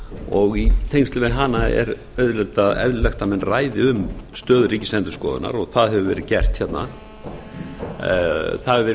og í tengslum við hana er auðvitað eðlilegt að menn ræði um stöðu ríkisendurskoðunar og það hefur verið gert hérna það hefur verið